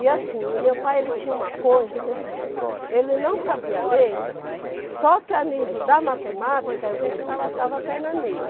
E assim, o meu pai ele tinha uma coisa que assim, ó, ele não sabia ler, só que a nível da matemática, a gente não passava a perna nele.